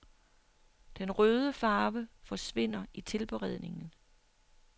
Den røde farve forsvinder i tilberedningen.